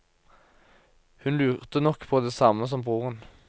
Hun lurte nok på det samme som broren.